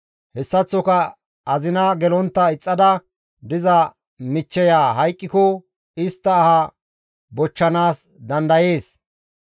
hessaththoka azina gelontta ixxada diza michcheya hayqqiko istta aha bochchanaas dandayees.